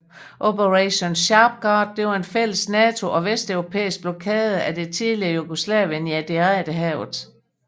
Operation Sharp Guard var en fælles NATO og vesteuropæisk blokade af det tidligere Jugoslavien i Adriaterhavet